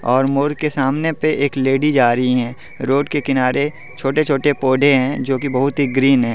और मोर के सामने पे एक लेडीज आ रही है रोड के किनारे छोटे छोटे पौधे हैं जो की बहुत ही ग्रीन है।